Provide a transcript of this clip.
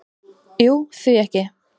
"""Jú, því ekki?"""